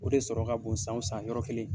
O de sɔrɔ ka bon san san yɔrɔ kelen.